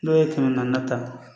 N'o ye kɛmɛ naani ta